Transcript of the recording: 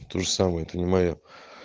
это тоже самое это не моё